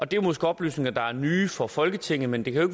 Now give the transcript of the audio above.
det er måske oplysninger der er nye for folketinget men de kan jo